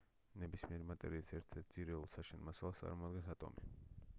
ნებისმიერი მატერიის ერთ-ერთ ძირეულ საშენ მასალას წარმოადგენს ატომი